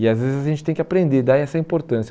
E, às vezes, a gente tem que aprender a dar essa importância.